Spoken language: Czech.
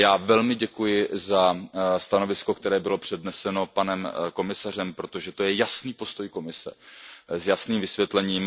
Velmi děkuji za stanovisko, které bylo předneseno panem komisařem, protože to je jasný postoj Komise s jasným vysvětlením.